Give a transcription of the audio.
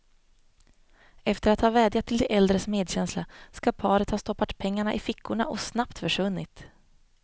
Efter att ha vädjat till de äldres medkänsla skall paret ha stoppat pengarna i fickorna och snabbt försvunnit.